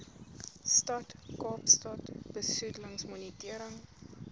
stad kaapstad besoedelingsmonitering